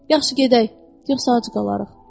Yaxşı, gedək, yoxsa acı qalırıq.